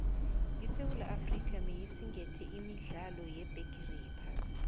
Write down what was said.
isewula afrika beyisingathe imidlalo yebhigeri yephasi